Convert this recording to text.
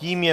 Tím je